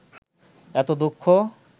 এত দুঃখ